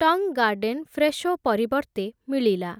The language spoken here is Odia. ଟଙ୍ଗ୍ ଗାର୍ଡେନ୍ ଫ୍ରେଶୋ ପରିବର୍ତ୍ତେ ମିଳିଲା ।